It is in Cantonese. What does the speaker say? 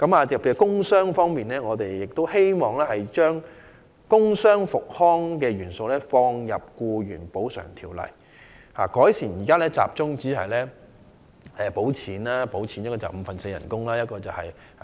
在工傷方面，我們希望把工傷復康元素納入《條例》，並改善現行只獲發五分之四工資及最高300元醫療費的安排。